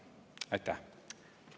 Aitäh!